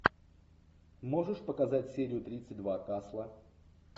можешь показать серию тридцать два касла